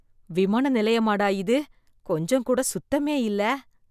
விமான நிலையமா டா இது! கொஞ்சம் கூட சுத்தமே இல்ல.